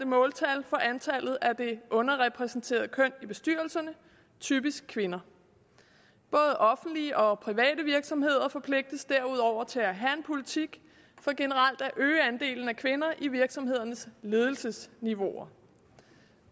måltal for antallet af det underrepræsenterede køn i bestyrelserne typisk kvinder både offentlige og private virksomheder forpligtes derudover til at have en politik for generelt at øge andelen af kvinder i virksomhedernes ledelsesniveauer